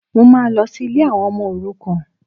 Mo máa lọ sí ilé àwọn ọmọ òrukàn